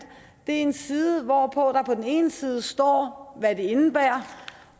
en side hvorpå der på den ene side står hvad det indebærer